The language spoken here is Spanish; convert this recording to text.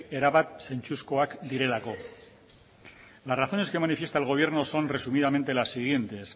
erabat zentzuzkoak direlako las razones que manifiesta el gobierno son resumidamente las siguientes